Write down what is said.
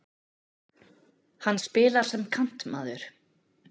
Hann spilar sem kantmaður.